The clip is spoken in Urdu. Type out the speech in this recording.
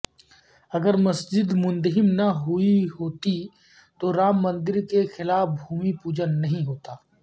اگر مسجد منہدم نہ ہوتی تو رام مندر کیلئے بھومی پوجن نہ ہوتا